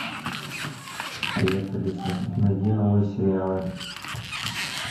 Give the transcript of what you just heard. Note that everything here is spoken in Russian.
привет алиса найди новые сериалы